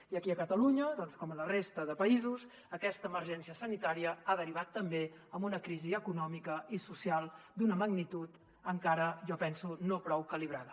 i aquí a catalunya com a la resta de països aquesta emergència sanitària ha derivat també en una crisi econòmica i social d’una magnitud encara jo penso no prou calibrada